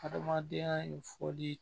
Hadamadenya in foli